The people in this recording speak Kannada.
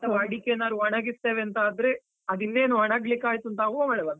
ಅಡಿಕೆ ಏನಾದ್ರು ಒಣಗಿಸ್ತೆವೆ ಅಂತ ಆದ್ರೆ, ಅದು ಇನ್ನೇನ್ ಒಣಾಲಿಕ್ಕೆ ಆಯ್ತು ಅಂತಾಗುವಾಗ ಮಳೆ ಬಂತು.